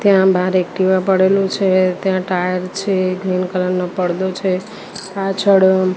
ત્યાં બાર એક્ટિવા પડેલુ છે તેમા ટાયર છે ગ્રીન કલર નો પરદો છે પાછળ--